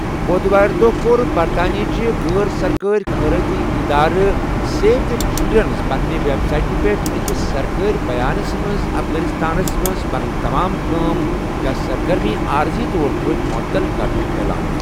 بودٕوارِ دۄہ کوٚر برطانیہٕچ غٲر سرکٲری خیرٲتی اِدارٕ 'سیو دی چلرنڑَن' پننہِ ویب سایٹہِ پٮ۪ٹھ أکِس سرکٲری بیانَس منٛز افغانستانَس منٛز پنٕنی تمام کأم یا سرگرمیہِ عٲرضی طور پٲٹھۍ معطل کرنُک اعلان۔